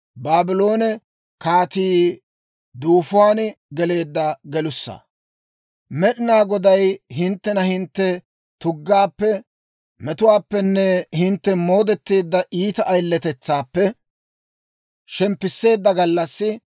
Med'inaa Goday hinttena hintte tuggaappe, metuwaappenne hintte moodetteedda iita ayiletetsaappe shemppisseedda gallassi,